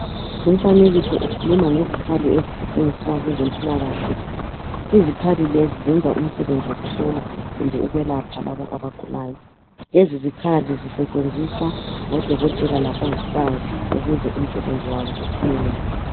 Lumfanekiso ukhuluma ngezikhali ezisetshenziswa ngabezempilakahle, izikhali lezi zenza umsebenzi wokuhlola kumbe ukwelapha abagulayo, lezi zikhali zisetshenziswa ngodokotela labongikazi ukuze umsebenzi wabo uphumelele.